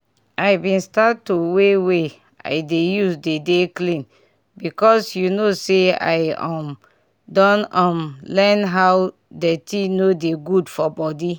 i bin start to way wey i dey use dey dey clean because you know say i um don um learn how dirty no dey good for body